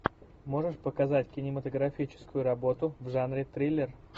можешь показать кинематографическую работу в жанре триллер